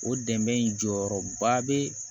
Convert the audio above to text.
O dɛmɛ in jɔyɔrɔ ba bɛ